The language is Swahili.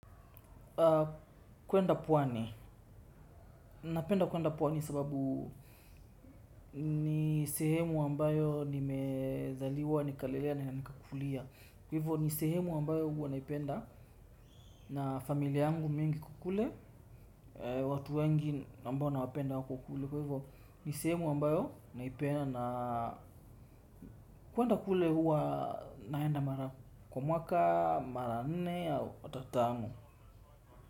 Kwenda pwani, napenda kwenda pwani sababu ni sehemu ambayo nimezaliwa, nikalelea na nikakulia. Kwa hivyo ni sehemu ambayo huwa naipenda na familia yangu mingi iko kule watu wengi ambao nawapenda wako kule ni sehemu wambayo naipenda na kwenda kule huwa naenda mara, kwa mwaka, mara nene au ata tano.